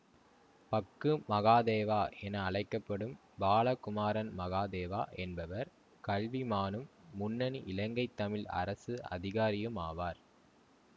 பக்கு மகாதேவா என அழைக்க படும் பாலகுமாரன் மகாதேவா என்பவர் கல்விமானும் முன்னணி இலங்கை தமிழ் அரசு அதிகாரியும் ஆவார்